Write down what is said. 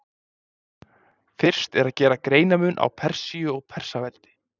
fyrst er að gera greinarmun á persíu og persaveldi